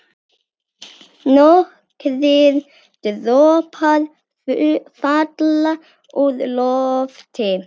Nokkrir dropar falla úr lofti.